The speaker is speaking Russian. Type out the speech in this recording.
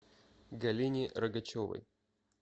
галине рогачевой